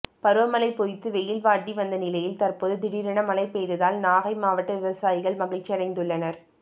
பருவமழை பொய்த்து வெயில் வாட்டி வந்த நிலையில் தற்போது திடீரென மழை பெய்ததால் நாகை மாவட்ட விவசாயிகள் மகிழ்ச்சியடைந்துள்ளனர்